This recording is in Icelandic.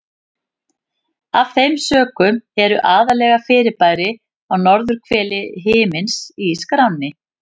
Af þeim sökum eru aðallega fyrirbæri á norðurhveli himins í skránni.